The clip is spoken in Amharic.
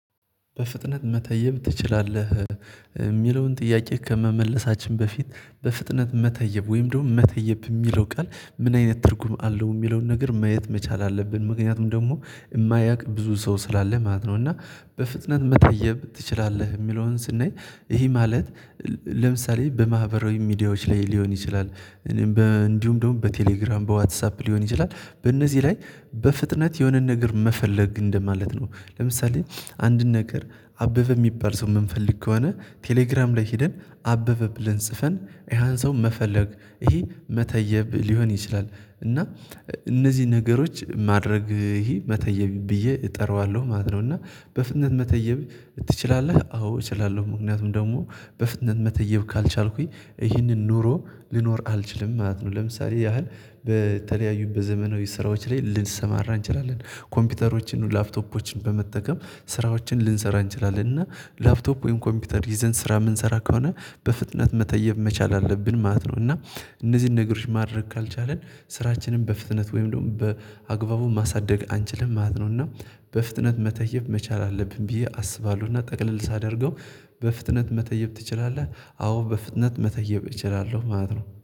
በፍጥነት መተየብ ትችላለህ የሚለውን ጥያቄ ከመመለሳችን በፊት በፍጥነት መተየብ ወይም ደግሞ መተየብ የሚለው ቃል ምን አይነት ትርጉም አለው የሚለውን ነገር ማየት መቻል አለብን። ምክንያቱም ደግሞ የማያውቅ ብዙ ሰው ስላለ ማለት ነው እና በፍጥነት መታየብ ትችላለህ የሚለውን ስናይ ይሄ ማለት ለምሳሌ በማህበራዊ ሚዲያዎች ላይ ሊሆን ይችላል እኔም እንዲሁም ደግሞ በቴሌግራም በዋትሳፕ ሊሆን ይችላል በእነዚህ ላይ በፍጥነት የሆነን ነገር መፈለግ እንደማለት ነው። ለምሳሌ አንድ ነገር አበበ የሚባል ሰው የምንፈልግ ከሆነ ቴሌግራም ላይ ሄደን አበበ ብለን ጽፈን ያን ሰው መፈለግ ይሄ መተየብ ሊሆን ይችላል እና እነዚህ ነገሮች ማድረግ ይሄ መተየብ ብዬ እጠራዋለሁ ማለት ነው። እና በፍጥነት መተየብ ትችላለህ አዎ እችላለሁ ምክንያቱም ደግሞ በፍጥነት መተየብ ካልቻልኩኝ ይህንን ኑሮ ልኖር አልችልም ማለት ነው። ለምሳሌ ያህል በተለያዩ በዘመናዊ ስራዎች ላይ ልንሰማራ እንችላለን ኮምፒውተሮች፤ ላፕቶፖችን፤ በመጠቀም ስራዎችን ልንሰራ እንችላለን እና ላፕቶፕ ወይም ኮምፒውተር ይዘን ስራ የምንሰራ ከሆነ በፍጥነት መተየብ መቻል አለብን ማለት ነው እና እነዚህን ነገሮች ማድረግ ካልቻልን ስራችንም በፍጥነት ወይም ደግሞ በአግባቡ ማሳደግ አንችልም ማለት ነው እና በፍጥነት መተየብ መቻል አለብን ብዬ አስባለሁና ጠቅለል ሳደርገው በፍጥነት መተየብ ትችላለህ አዎ በፍጥነት መተየብ እችላለሁ ማለት ነው።